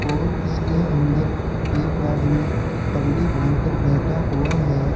और इसके अंदर एक आदमी पगड़ी बांध कर बैठा हुआ है।